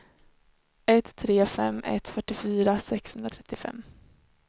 ett tre fem ett fyrtiofyra sexhundratrettiofem